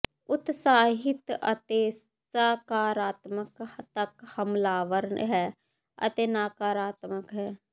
ਉਤਸਾਹਿਤ ਅਤੇ ਸਕਾਰਾਤਮਕ ਤੱਕ ਹਮਲਾਵਰ ਹੈ ਅਤੇ ਨਕਾਰਾਤਮਕ ਹੈ